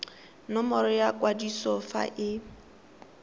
nomoro ya kwadiso fa e